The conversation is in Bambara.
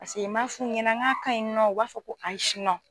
Pase m'a fu ɲɛnɛ n ka ɲi nɔ u b'a fɔ ko ayi